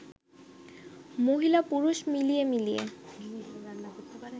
মহিলা-পুরুষ মিলিয়ে মিলিয়ে